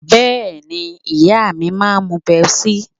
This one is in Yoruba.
Bẹ́ẹ̀ni, ìyá mi máa ń mu Pepsi